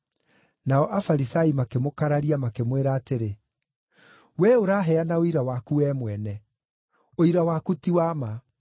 Nao Afarisai makĩmũkararia, makĩmwĩra atĩrĩ, “We ũraheana ũira waku wee mwene; ũira waku ti wa ma.”